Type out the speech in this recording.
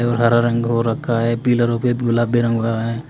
और हरा रंग हो रखा है पिलरों पे गुलाबी रंग हुआ है।